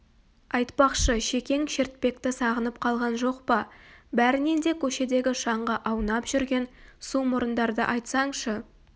айтпақшы шекең шертпекті сағынып қалған жоқ па бәрінен де көшедегі шаңға аунап жүрген сумұрындарды айтсаңшы